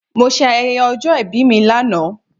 Mo se ayẹyẹ ọjọ́ ìbí mi lánàá